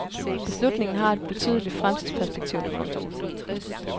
Beslutningen har et betydeligt fremtidsperspektiv. punktum